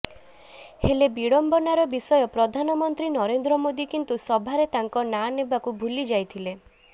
ହେଲେ ବିଡମ୍ବନାର ବିଷୟ ପ୍ରଧାନ ମନ୍ତ୍ରୀ ନରେନ୍ଦ୍ର ମୋଦି କିନ୍ତୁ ସଭାରେ ତାଙ୍କ ନାଁ ନେବାକୁ ଭୁଲିଯାଇଥିଲେ